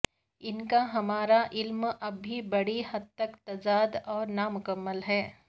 ان کا ہمارا علم اب بھی بڑی حد تک تضاد اور نامکمل ہے